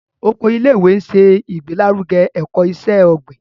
Oko ilé-ìwé nṣe igbelaruge ẹkọ iṣẹ-ogbin.